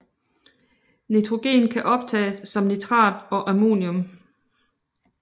Nitrogen kan optages som nitrat og ammonium